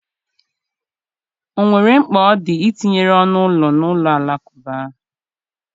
O nwere mkpa ọ dị itinye ọnụ ụlọ na ụlọ alakụba?